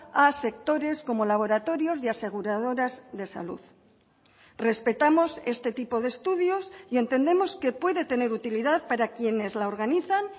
a sectores como laboratorios y aseguradoras de salud respetamos este tipo de estudios y entendemos que puede tener utilidad para quienes la organizan